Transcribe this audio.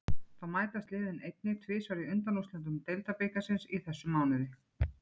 Þá mætast liðin einnig tvisvar í undanúrslitum deildarbikarsins í þessum mánuði.